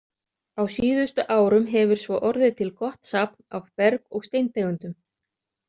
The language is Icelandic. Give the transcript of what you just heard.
Á síðustu árum hefur svo orðið til gott safn af berg- og steintegundum.